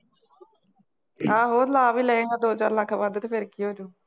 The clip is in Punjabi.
ਆਹੋ ਲਾ ਵੀ ਲਏਗਾਂ ਦੋ ਚਾਰ ਲੱਖ ਵੱਧ ਅਤੇ ਫੇਰ ਕੀ ਹੋ ਜਾਊ